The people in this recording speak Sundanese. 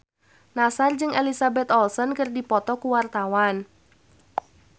Nassar jeung Elizabeth Olsen keur dipoto ku wartawan